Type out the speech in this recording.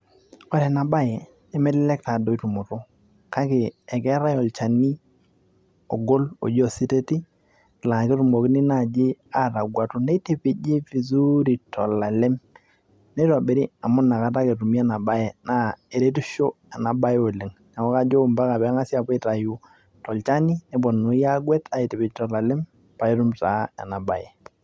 ore enabaye nemelelek tadoi tumoto kake ekeetae olchani ogol oji ositeti laa ketumokini naaji atagwatu neitipiji vizuri tolalem neitobiri amu inakata ake etumi ena baye naa eretisho ena baye oleng neeku kajo mpaka peeng'asi apuo aitayu tolchani neponunui agwet aitipij tolalem paitum taa ena baye.